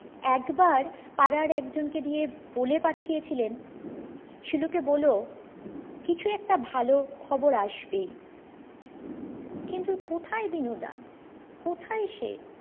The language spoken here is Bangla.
একবার পাড়ার একজন কে দিয়ে বলে পাঠিয়েছিলেন শিলুকে বলো কিছু একটা ভালো খবর আসবেই কিন্তু কোথায় দিনু দা কোথায় সে